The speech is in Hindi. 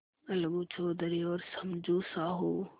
अलगू चौधरी और समझू साहु